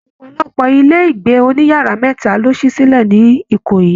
Ọpọlọpọ ilé ìgbé òní yàrá mẹta lo si silẹ ní Ìkòyí